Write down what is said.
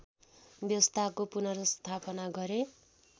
व्यवस्थाको पुनर्स्थापना गरे